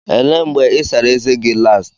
Elee mgbe ị sara ezé gị last?